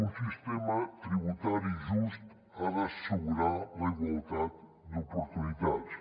un sistema tributari just ha d’assegurar la igualtat d’oportunitats